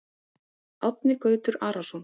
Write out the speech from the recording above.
Árni Gautur Arason